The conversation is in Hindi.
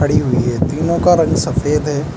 खड़ी हुई है तीनों का रंग सफेद है।